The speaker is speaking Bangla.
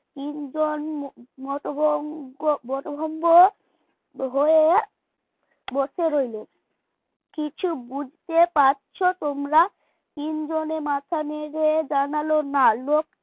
তিনজন মতভঙ্গ বতভম্ব হয়ে বসে রইল কিছু বুঝতে পারছো তোমরা তিনজনে মাথা নেড়ে জানালো না